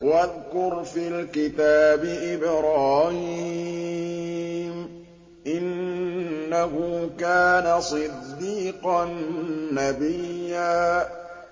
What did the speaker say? وَاذْكُرْ فِي الْكِتَابِ إِبْرَاهِيمَ ۚ إِنَّهُ كَانَ صِدِّيقًا نَّبِيًّا